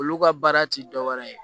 Olu ka baara ti dɔwɛrɛ ye